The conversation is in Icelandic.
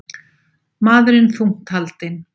Maðurinn þungt haldinn